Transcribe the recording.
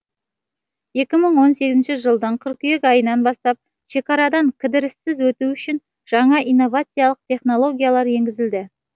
екі мың сегізінші жылдың қыркүйек айынан бастап шекарадан кідіріссіз өту үшін жаңа инновациялық технологиялар енгізілді